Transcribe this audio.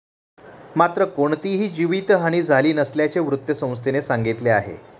मात्र कोणतीही जीवितहानी झाली नसल्याचे वृत्तसंस्थेने म्हटले आहे.